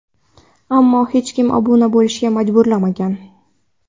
Ammo hech kim obuna bo‘lishga majburlanmagan.